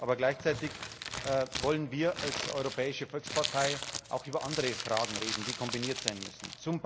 Aber gleichzeitig wollen wir als europäische Volkspartei auch über andere Fragen reden, die kombiniert sein müssen.